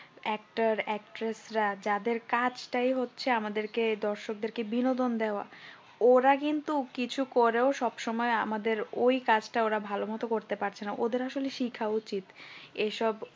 actor actress রা যাদের কাজটাই হচ্ছে আমাদেরকে দৰ্শকদেরকে বিনোদন দেওয়া ওরা কিন্তু কিছু করেও সব সময় আমাদের ওই কাজটা ওরা ভালোমতো করতে পারছে না ওদের আসলে শিখা উচিত এসব